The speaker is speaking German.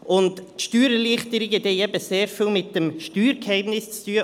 Und Steuererleichterungen haben sehr viel mit dem Steuergeheimnis zu tun: